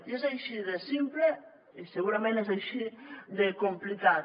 i és així de simple i segurament és així de complicat